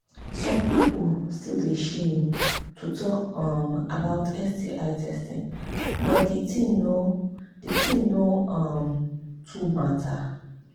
some people still they shame to talk um about sti testing but the thing no the thing no um too matter